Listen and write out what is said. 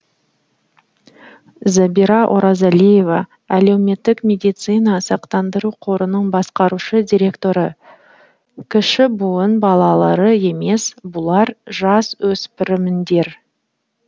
забира оразалиева әлеуметтік медициналық сақтандыру қорының басқарушы директоры кіші буын балалары емес бұлар жасөспірімдер